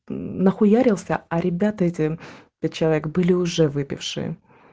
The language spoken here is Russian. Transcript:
нахуярился а ребята эти пять человек были уже выпившие